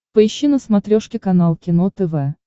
поищи на смотрешке канал кино тв